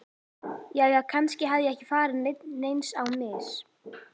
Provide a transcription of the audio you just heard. Jæja, kannski hafði ég ekki farið neins á mis.